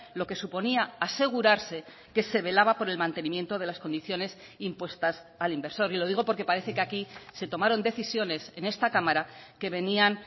lo que suponía asegurarse que se velaba por el mantenimiento de las condiciones impuestas al inversor y lo digo porque parece que aquí se tomaron decisiones en esta cámara que venían